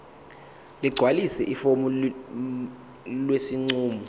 ligcwalise ifomu lesinqumo